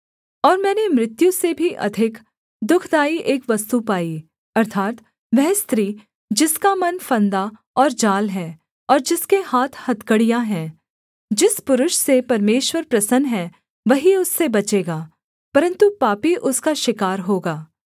और मैंने मृत्यु से भी अधिक दुःखदाई एक वस्तु पाई अर्थात् वह स्त्री जिसका मन फंदा और जाल है और जिसके हाथ हथकड़ियाँ है जिस पुरुष से परमेश्वर प्रसन्न है वही उससे बचेगा परन्तु पापी उसका शिकार होगा